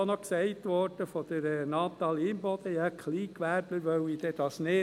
Von Natalie Imboden wurde noch gesagt, die Kleingewerbler wollten dies nicht.